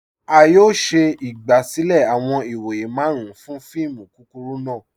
A yọ̀ọ̀ ṣẹ igbasilẹ̀ awọn ìwọ̀yẹ̀ màrùn fún fíìmù kúkúrù náà